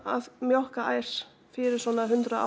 að mjólka ær fyrir svona hundrað